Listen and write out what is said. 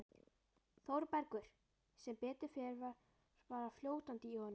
ÞÓRBERGUR: Sem betur fer var bara fljótandi í honum.